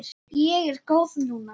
Ég er góð núna.